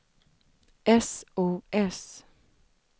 sos